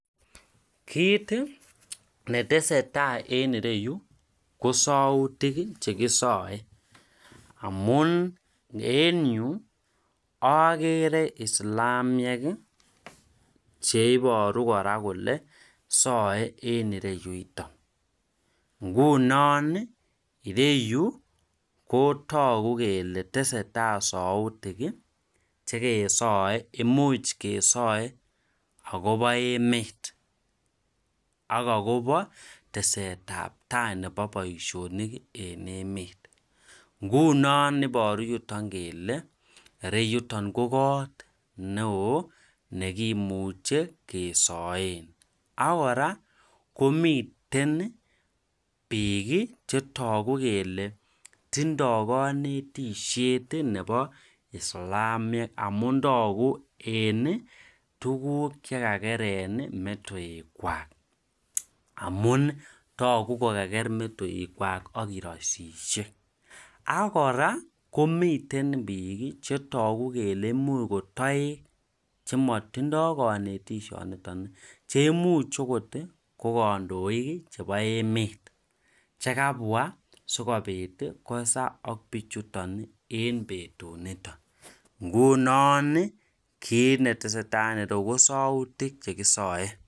Kit netesetai en ireyu kosautik chekisae amun en Yu agere islamiek cheiboru kora Kole SAE en ireyuton ngunon ireyu kotagu kele tesetai sautik chekeyae imuch kesae akoba emet akakoba teset ab tai Nebo Baishonik en emet ngunon ibaru yuton kele ireyuton ko kot neon neimuche kesaen agora komiten bik chetagu kele tindo kanetishet Nebo islamiek amun tagu en tuguk chekakeren metoek chwak amun tagu kokager metoek Kwak akeraisishek akoraa komiten bik chetagu kele imuch kotaek chematindoi kanetishet niton koimuch okot kokandoik chebo emet chekabwa sikobit kosa ak bichuton en betut niton ngunon kit netesetai en ireyu kosautik chekisae